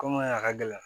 Kom'a a ka gɛlɛn